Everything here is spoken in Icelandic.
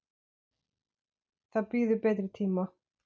Það bíður betri tíma.